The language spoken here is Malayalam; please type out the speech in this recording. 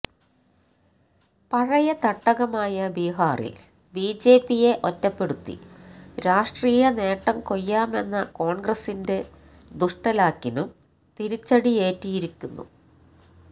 പഴയ തട്ടകമായ ബീഹാറില് ബിജെപിയെ ഒറ്റപ്പെടുത്തി രാഷ്ട്രീയ നേട്ടം കൊയ്യാമെന്ന കോണ്ഗ്രസിന്റെ ദുഷ്ടലാക്കിനും തിരിച്ചടിയേറ്റിരിക്കുന്നു